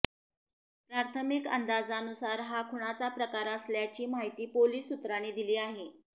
प्राथमिक अंदाजानुसार हा खुनाचा प्रकार असल्याची माहिती पोलीस सूत्रांनी दिली आहे